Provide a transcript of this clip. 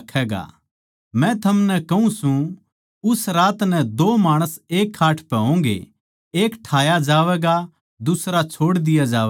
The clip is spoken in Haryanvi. मै थमनै कहूँ सूं उस रात नै दो माणस एक खाट पै होंगे एक ठाया जावैगा अर दुसरा छोड़ दिया जावैगा